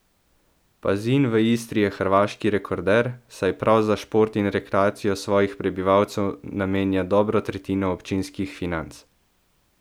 Pazin v Istri je hrvaški rekorder, saj prav za šport in rekreacijo svojih prebivalcev namenja dobro tretjino občinskih financ.